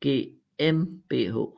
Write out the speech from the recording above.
GmbH